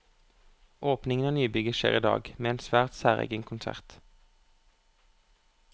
Åpningen av nybygget skjer i dag, med en svært særegen konsert.